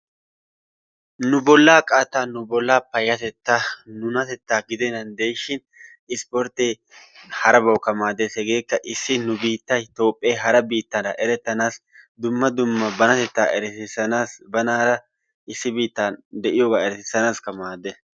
Nu bollaa qattaa nu bollaa payatettaa nu bollaa gidenan de'ishin isporttee harabawukka maaddees. hegeekka issi nu biittay toophphee hara biittaara erettanaasi dumma dumma banatettaa eretisanaasi banaara issi bitaara eretesinaasikka maaddees.